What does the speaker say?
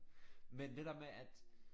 Men det der med at